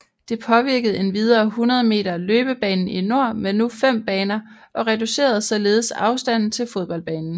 Det påvirkede endvidere 100 meter løbebanen i nord med nu fem baner og reducerede således afstanden til fodboldbanen